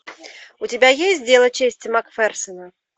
у тебя есть дело чести макферсона